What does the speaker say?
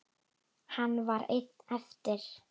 Hann var einn eftir.